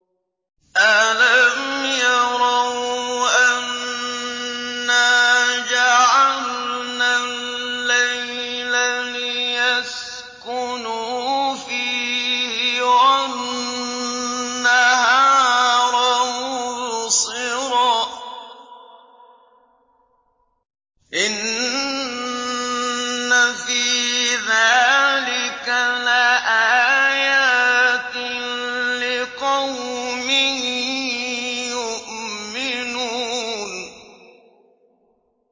أَلَمْ يَرَوْا أَنَّا جَعَلْنَا اللَّيْلَ لِيَسْكُنُوا فِيهِ وَالنَّهَارَ مُبْصِرًا ۚ إِنَّ فِي ذَٰلِكَ لَآيَاتٍ لِّقَوْمٍ يُؤْمِنُونَ